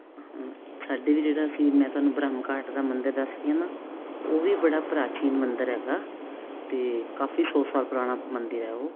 ਹਾਂ ਸਾਡੀ ਵੀ ਜਿਹੜਾਸੀ ਮੈਂ ਤੁਹਾਨੁੰ ਬ੍ਰਹਮ ਘਾਟ ਦਾ ਮੰਦਰ ਦਸ ਰਹੀ ਹਾਂ ਨਾ ਉਹ ਵੀ ਬੜਾ ਪ੍ਰਾਚੀਨ ਮੰਦਰ ਹੈਗਾ ਤੇ ਕਾਫੀ ਸੋ ਸਾਲ ਪੁਰਾਣਾ ਮੰਦਿਰ ਹੈ ਉਹ